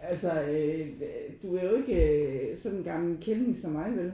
altså øh du er jo ikke øh sådan en gammel kælling som mig vel?